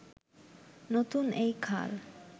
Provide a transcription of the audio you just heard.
নতুন এই খাল